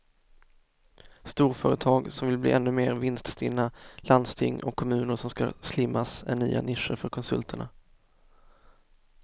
Storföretag som vill bli ännu mer vinststinna, landsting och kommuner som ska slimmas är nya nischer för konsulterna.